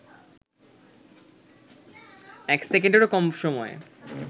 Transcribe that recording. এক সেকেন্ডেরও কম সময়ে